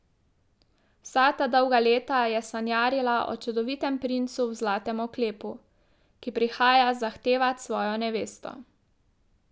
Vsa ta dolga leta je sanjarila o čudovitem princu v zlatem oklepu, ki prihaja zahtevat svojo nevesto.